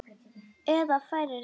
Eða færir það nær.